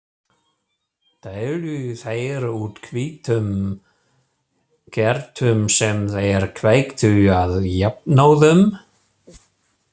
Deildu þeir út hvítum kertum sem þeir kveiktu á jafnóðum.